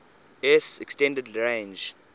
s extended range